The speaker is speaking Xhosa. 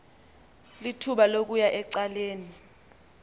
lithuba lokuya ecaleni